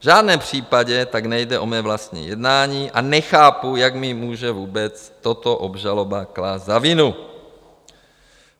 V žádném případě tak nejde o mé vlastní jednání a nechápu, jak mi může vůbec toto obžaloba klást za vinu.